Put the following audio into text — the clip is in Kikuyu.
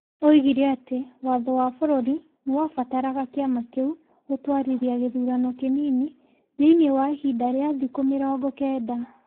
Oigire atĩ Watho wa bũrũri nĩ wabataraga kĩama kĩu gũtwarithia gĩthurano kĩnini thĩinĩ wa ihinda rĩa thikũ mĩrongo kenda.